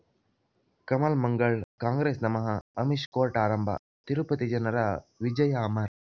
ಕಮಲ್ ಮಂಗಳ್ ಕಾಂಗ್ರೆಸ್ ನಮಃ ಅಮಿಷ್ ಕೋರ್ಟ್ ಆರಂಭ ತಿರುಪತಿ ಜನರ ವಿಜಯ ಅಮರ್